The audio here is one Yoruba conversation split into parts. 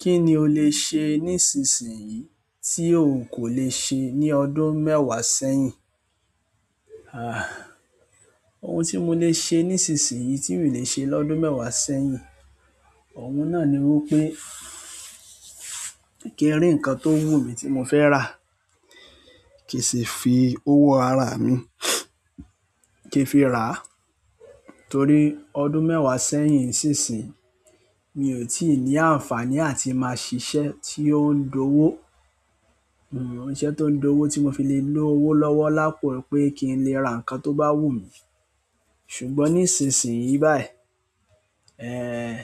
Kí ni o lè ṣe nísinsìnyí tí òun kò le ṣe ní ọdún mẹ́wàá sẹ́yìn? Ohun tí mo lè ṣe nísinsìnyí tí mi ò lè ṣe lọ́dún mẹ́wàá sẹ́yìn, òun náà ni wípé kí n rí nǹkan tó wù mí tí mo fẹ́ rà, kí n sì fi owó ara mi kí n fi ràá. Torí ọdún mẹ́wàá sẹ́yìn sí ìsinyìí, mi ò tíì ní àǹfààní àti máa ṣiṣẹ́ tí ó ń dowó. Iṣẹ́ tó ń dowó tí mo fi lè ló owó lọ́wọ́ lápò pé kí n lè ra nǹkan tó bá wù mí. Ṣùgbọ́n nísinsìnyí báyìí, ehn,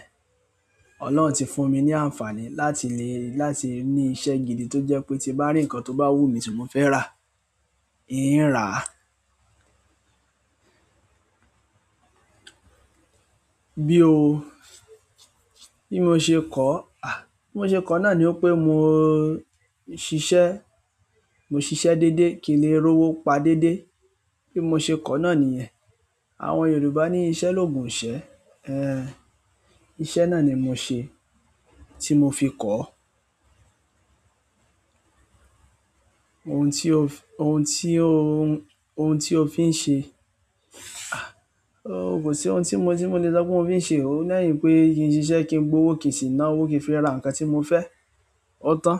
Ọlọ́run ti fún mi ní àǹfààní láti le, láti ní iṣẹ́ gidi tó jẹ́ pé tí n bá rí nǹkan tó bá wù mí tí mo fẹ́ rà, i ń ràá. Bí o, bí mo ṣe kọ̀ọ́? Bí mo ṣe kọ̀ọ́ náà ni wípé mo ṣiṣẹ́, mo ṣiṣẹ́ déédéé, kí n le rówó pa déédéé. Bí mo ṣe kọ́ náà nìyẹn. Àwọn Yorùbá ní "Iṣẹ́ lòògùn ìṣẹ́". Ehn, iṣẹ́ náà ni mo ṣe tí mo fi kọ̀ọ́. Ohun tí o fi, ohun tí o, ohun tí o fi ń ṣe. Ó, kò sí ohun tí mo, tí mo lè sọ pé mo fi ń ṣe o, lẹ́yìn pé kí n ṣiṣẹ́ kí ń gbowó kí n sì ná owó kí n fi ra nǹkan tí mo fẹ́. Ó tán.